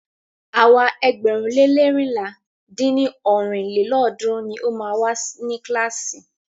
Àwa ẹgbẹ̀rún le leérinlá dín ní ọ́rin lélọ́ọ̀dúnrún ni a wa ni kílàásì.